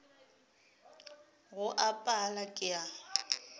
go a pala ke a